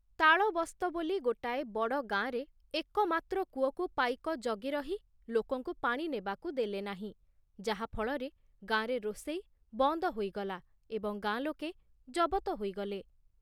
ତାଳବସ୍ତ ବୋଲି ଗୋଟାଏ ବଡ଼ ଗାଁରେ ଏକମାତ୍ର କୂଅକୁ ପାଇକ ଜଗି ରହି ଲୋକଙ୍କୁ ପାଣି ନେବାକୁ ଦେଲେ ନାହିଁ, ଯାହା ଫଳରେ ଗାଁରେ ରୋଷେଇ ବନ୍ଦ ହୋଇଗଲା ଏବଂ ଗାଁ ଲୋକେ ଜବତ ହୋଇଗଲେ ।